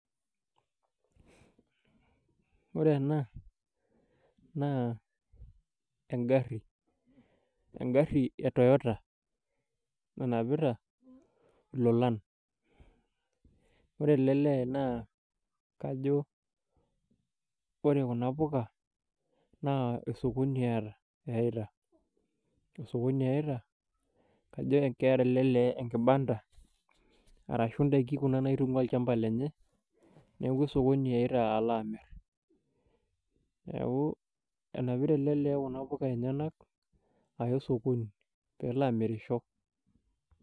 Ore ena naa engarri, engarri e toyota nanapita ilolan . Ore ele lee naa kajo ore kuna puka naa osokoni eata, eitai, osokoni eita, kajo keeta ele lee enkibanda arashu ndaiki kuna naitungwaa olchamba lenye neeku osokoni eita ala amir , niaku enapita ele lee kuna puka enyenak aya osokoni pelo amirisho.